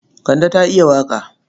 Kande ta iya waƙa.